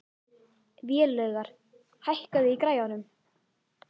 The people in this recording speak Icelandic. Vélaugur, hækkaðu í græjunum.